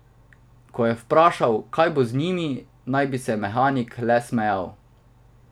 Ko je vprašal, kaj bo z njimi, naj bi se mehanik le smejal.